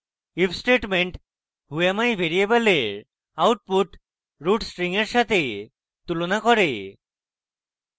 if statement whoami ভ্যারিয়েবলের output root string এর সাথে তুলনা করে